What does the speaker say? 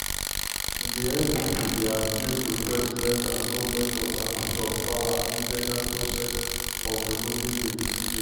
di npp dey accuse di president and goment of "abuse of power and illegal process" of removing di cj.